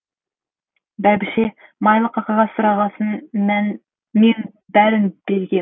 бәйбіше майлыққа қағаз сұрағасын мен бәрін бергем